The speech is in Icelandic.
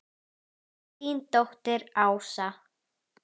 Þín dóttir Ásta.